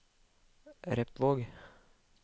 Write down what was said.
Repvåg